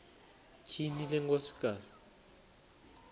tyhini le nkosikazi